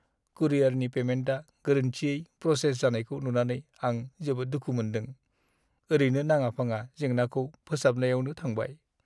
कुरियारनि पेमेन्टआ गोरोन्थियै प्रसेस जानायखौ नुनानै आं जोबोद दुखु मोन्दों, ओरैनो नाङा-फाङा जेंनाखौ फोसाबनायावनो थांबाय।